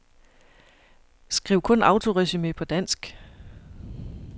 Skriv kun autoresumé på dansk.